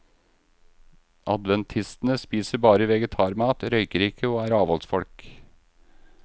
Adventistene spiser bare vegetarmat, røyker ikke og er avholdsfolk.